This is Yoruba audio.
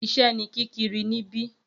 Iṣẹ́ ní kíkiri níbí